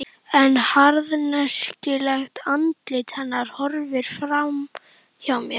En harðneskjulegt andlit hennar horfir fram hjá mér.